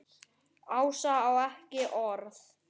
Ása á ekki orð.